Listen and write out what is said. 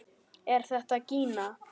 Er þetta gína?